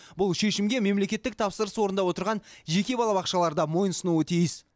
бұл шешімге мемлекеттік тапсырыс орындап отырған жеке балабақшалар да мойын сұнуы тиіс